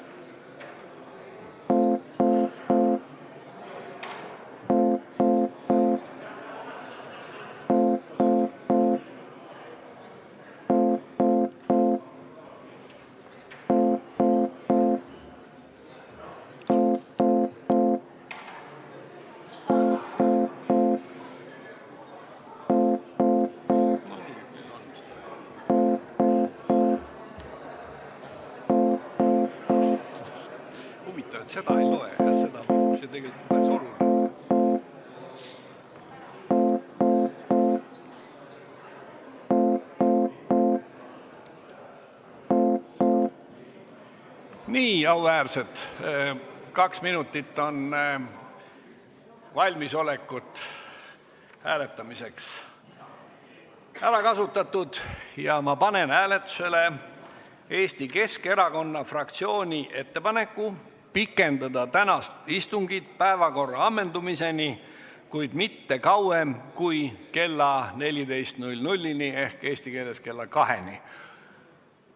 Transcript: Kaks minutit hääletuseks valmisolekuks on ära kasutatud ja ma panen hääletusele Eesti Keskerakonna fraktsiooni ettepaneku pikendada tänast istungit päevakorra ammendumiseni, kuid mitte kauem kui kella 14-ni ehk eesti keeles kella kaheni.